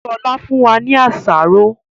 Sọlá fún wa ní àsáró